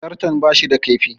Zarton bashi da kaifi